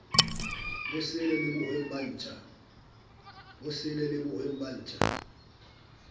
sele le bohweng ba ntja